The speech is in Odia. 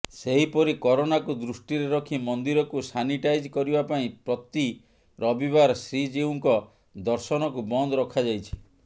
ସେହିପରି କରୋନାକୁ ଦୃଷ୍ଟିରେ ରଖି ମନ୍ଦିରକୁ ସାନିଟାଇଜ୍ କରିବା ପାଇଁ ପ୍ରତି ରବିବାର ଶ୍ରୀଜିଉଙ୍କ ଦର୍ଶନକୁ ବନ୍ଦ ରଖାଯାଇଛି